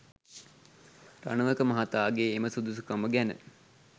රණවක මහතාගේ එම සුදුසුකම ගැන